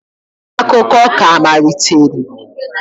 Akụkọ ka amaliteri